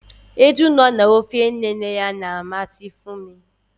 Eju nọ na ofe nne nne ya na-amasị Funmi